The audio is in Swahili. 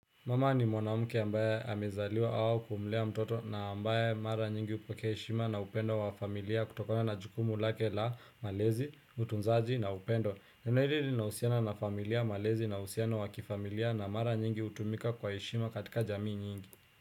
Mama ni mwanamke ambaye amezaliwa au kumlea mtoto na ambaye mara nyingi hupokea heshima na upendo wa familia kutokana na jukumu lake la malezi, utunzaji na upendo. Neno hili linahusiana na familia, malezi na uhusiano wa kifamilia na mara nyingi hutumika kwa heshima katika jamii nyingi.